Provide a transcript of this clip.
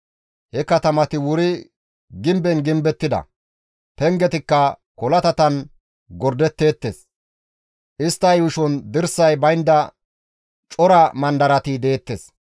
He katamati wuri gimben gimbettida; pengetikka kolatatan gordeteettes; istta yuushon dirsay baynda cora mandarati deettes.